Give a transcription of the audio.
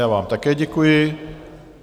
Já vám také děkuji.